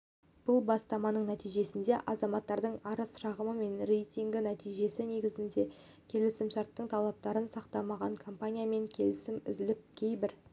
бұл бастаманың нәтижесінде азаматтардың арыз-шағымы мен рейтинг нәтижесі негізінде келісімшарттың талаптарын сақтамаған компаниямен келісім үзіліп кейбір